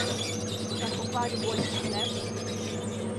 Ga je pokvaril goli pohlep?